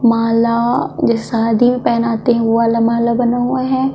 माला जो शादी में पहनाते है वो वाला माला बना हुआ हैं।